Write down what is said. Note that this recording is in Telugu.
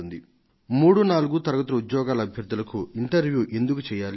3వ తరగతి 4వ తరగతి ఉద్యోగార్థులను ఎందుకు ఇంటర్వ్యూ చేయడం